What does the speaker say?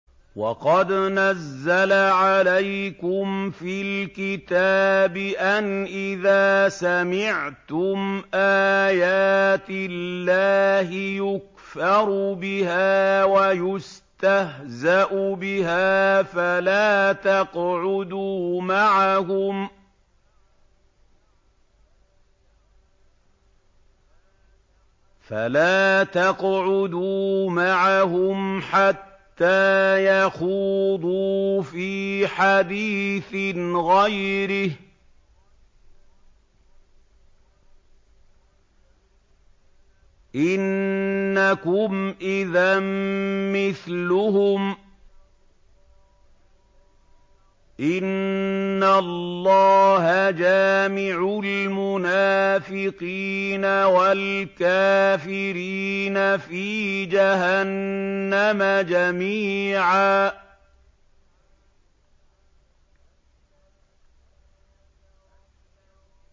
وَقَدْ نَزَّلَ عَلَيْكُمْ فِي الْكِتَابِ أَنْ إِذَا سَمِعْتُمْ آيَاتِ اللَّهِ يُكْفَرُ بِهَا وَيُسْتَهْزَأُ بِهَا فَلَا تَقْعُدُوا مَعَهُمْ حَتَّىٰ يَخُوضُوا فِي حَدِيثٍ غَيْرِهِ ۚ إِنَّكُمْ إِذًا مِّثْلُهُمْ ۗ إِنَّ اللَّهَ جَامِعُ الْمُنَافِقِينَ وَالْكَافِرِينَ فِي جَهَنَّمَ جَمِيعًا